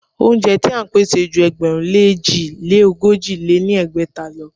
Óúnjẹ ti à ń pèsè ju ẹgbẹ̀rún lé èjì lé ogójì lé ní ẹgbẹ́ta lọ.